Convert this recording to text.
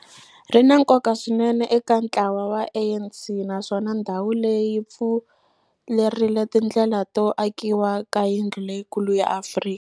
Ri na nkoka swinene eka ntlawa wa ANC, naswona ndhawu leyi pfurile tindlela to akiwa ka yindlu leyikulu ya Afrika.